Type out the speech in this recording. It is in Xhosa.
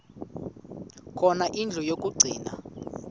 khona indlu yokagcina